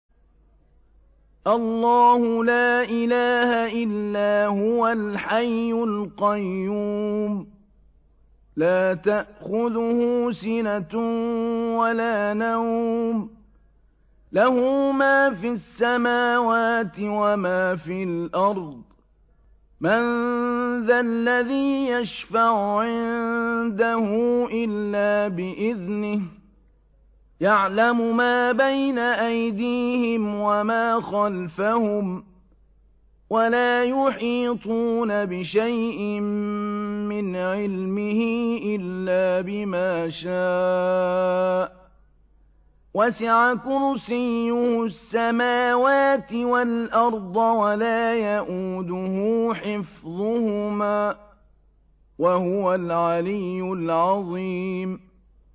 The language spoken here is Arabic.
اللَّهُ لَا إِلَٰهَ إِلَّا هُوَ الْحَيُّ الْقَيُّومُ ۚ لَا تَأْخُذُهُ سِنَةٌ وَلَا نَوْمٌ ۚ لَّهُ مَا فِي السَّمَاوَاتِ وَمَا فِي الْأَرْضِ ۗ مَن ذَا الَّذِي يَشْفَعُ عِندَهُ إِلَّا بِإِذْنِهِ ۚ يَعْلَمُ مَا بَيْنَ أَيْدِيهِمْ وَمَا خَلْفَهُمْ ۖ وَلَا يُحِيطُونَ بِشَيْءٍ مِّنْ عِلْمِهِ إِلَّا بِمَا شَاءَ ۚ وَسِعَ كُرْسِيُّهُ السَّمَاوَاتِ وَالْأَرْضَ ۖ وَلَا يَئُودُهُ حِفْظُهُمَا ۚ وَهُوَ الْعَلِيُّ الْعَظِيمُ